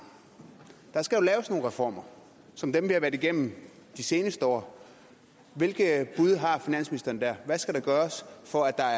der skal jo laves nogle reformer som dem vi har været igennem de seneste år hvilke bud har finansministeren der hvad skal der gøres for at der